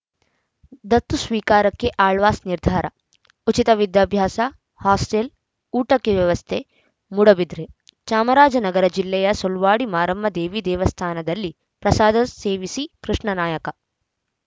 ದತ್ತು ಸ್ವೀಕಾರಕ್ಕೆ ಆಳ್ವಾಸ್‌ ನಿರ್ಧಾರ ಉಚಿತ ವಿದ್ಯಾಭ್ಯಾಸ ಹಾಸ್ಟೆಲ್‌ ಊಟಕ್ಕೆ ವ್ಯವಸ್ಥೆ ಮೂಡುಬಿದಿರೆ ಚಾಮರಾಜನಗರ ಜಿಲ್ಲೆಯ ಸುಳ್ವಾಡಿ ಮಾರಮ್ಮ ದೇವಿ ದೇವಸ್ಥಾನದಲ್ಲಿ ಪ್ರಸಾದ ಸೇವಿಸಿ ಕೃಷ್ಣ ನಾಯ್‌ಕ